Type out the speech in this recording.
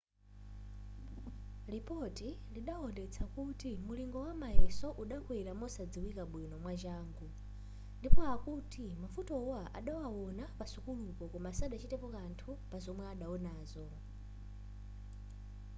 lipoti lidaonetsa kuti mulingo wamayeso udakwera mosadziwika bwino mwachangu ndipo akuti mavutowa adawawona pasukulupo koma sadachitepo kanthu pa zomwe adapezazo